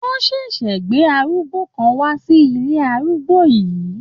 Wọ́n ṣẹ̀ṣẹ̀ gbé arúgbó kan wá sí ilé arúgbó yìí.